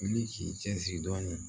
Wuli k'i cin dɔɔnin